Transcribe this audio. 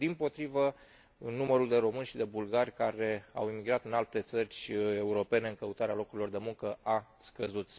Dimpotrivă, numărul de români și de bulgari care au emigrat în alte țări europene în căutarea locurilor de muncă a scăzut.